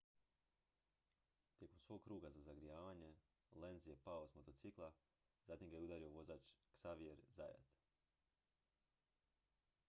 tijekom svog kruga za zagrijavanje lenz je pao s motocikla zatim ga je udario vozač xavier zayat